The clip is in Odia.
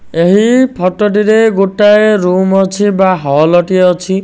ଏହି ଫଟ ରେ ଗୋଟାଏ ରୁମ୍ ଅଛି। ବା ହଲ ଟିଏ ଅଛି।